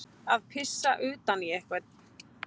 Að pissa utan í einhvern